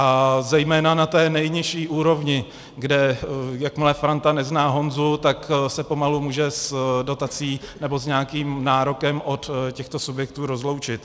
A zejména na té nejnižší úrovni, kde jakmile Franta nezná Honzu, tak se pomalu může s dotací nebo s nějakým nárokem od těchto subjektů rozloučit.